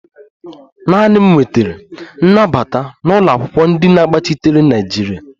Naanị m nwetara nnabata n'ụlọakwụkwọ ndi na-agbachitere naịjirịa